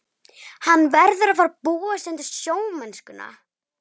Hann verður að fara að búa sig undir sjómennskuna.